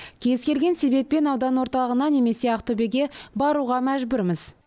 кез келген себеппен аудан орталығына немесе ақтөбеге баруға мәжбүрміз